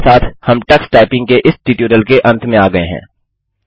इसी के साथ हम टक्स टाइपिंग के इस ट्यूटोरियल के अंत में आ गये हैं